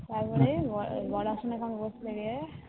তারপরে বর আসনে বসলো গিয়ে